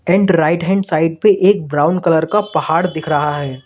And right hand side पे एक brown colour का पहाड़ दिख रहा है।